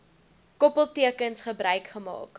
koppeltekens gebruik gemaak